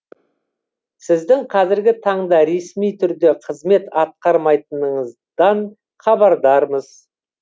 сіздің қазіргі таңда ресми түрде қызмет атқармайтыныңыздан хабардармыз